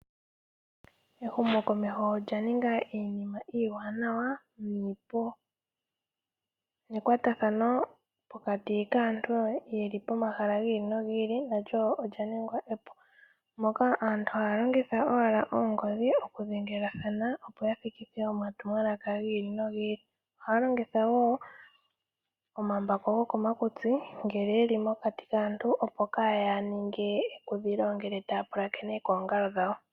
Ehumokomeho olya ninga iinima iiwanawa niipu nekwatathano pokati kaantu ye li momamahala gi ili nogi ili nalyo olya ningwa epu moka aantu haya longitha owala oongodhi okudhengelathana opo ya thikithe omatumwalaka gi ili nogi ili. Ohaya longitha wo omambako goko makutsi ngele ye li mokati kaantu opo kaaya ninge ekudhilo ngele taya pulakene koongalo dhawo.